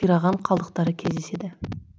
қираған қалдықтары кездеседі